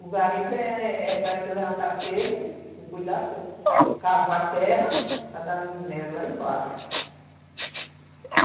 O garimpo eh eh era levantar cedo, cuidar cedo, cavar terra para dar no minério lá embaixo.